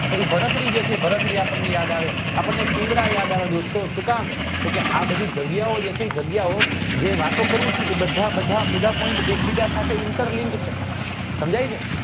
જે ભરત્રી જે છે એ ભરત્રી આપણને યાદ આવે આપણને પિંગલા યાદ આવે દોસ્તો સુ કામ તો કે આ બધી જગ્યા ઓ જે છે એ જગ્યા ઓ જે વાતો કરું છું એ બધા બધા બધા point એક બીજા સાથે inter link છે સમજાય છે